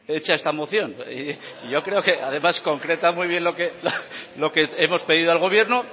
hecha esta moción yo creo que además concreta muy bien lo que hemos pedido al gobierno